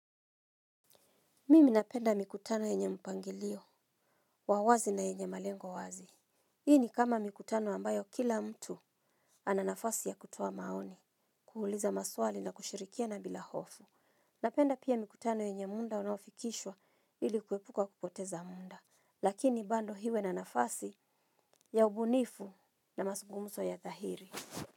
Mimi napenda mikutano yenye mpangilio wa wazi na yenye malengo wazi. Hii ni kama mikutano ambayo kila mtu ana nafasi ya kutoa maoni, kuuliza maswali na kushirikiana bila hofu. Napenda pia mikutano yenye muda unaofikishwa ili kuepuka kupoteza muda. Lakini bado iwe na nafasi ya ubunifu na mazungumzo ya dhahiri.